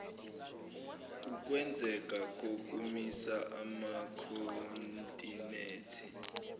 ukwenzeka kokumisa amakhontinethi